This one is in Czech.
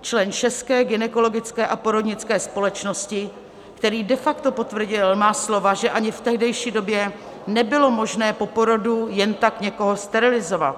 člen České gynekologické a porodnické společnosti, který de facto potvrdil má slova, že ani v tehdejší době nebylo možné po porodu jen tak někoho sterilizovat.